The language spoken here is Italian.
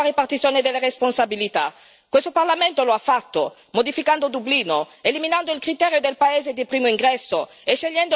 Questo Parlamento lo ha fatto, modificando Dublino, eliminando il criterio del paese di primo ingresso e scegliendo il ricollocamento obbligatorio.